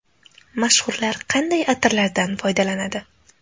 Mashhurlar qanday atirlardan foydalanadi?.